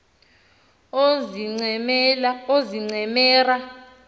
oozincemera